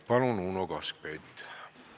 Palun, Uno Kaskpeit!